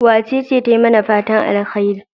Wacece ta yi mana fatan alheri?